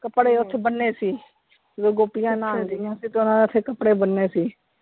ਕਪੜੇ ਓਥੇ ਬੰਨੇ ਸੀ, ਜੋ ਗੋਪੀਆਂ ਨਹਾਉਣ ਡਿਆਂ ਸੀ ਤੇ ਓਹਨਾ ਨੇ ਓਥੇ ਕਪੜੇ ਬੰਨੇ ਸੀ।